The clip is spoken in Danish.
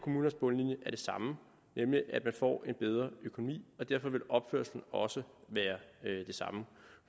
bundlinjen er det samme nemlig at man får en bedre økonomi og derfor vil opførslen også være den samme